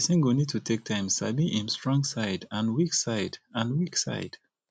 person go need to take time sabi im strong side and weak side and weak side